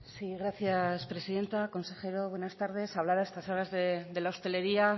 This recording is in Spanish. sí gracias presidenta consejero buenas tardes hablar a estas horas de la hostelería